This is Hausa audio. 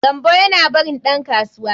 Gambo yana barin dan kasuwa.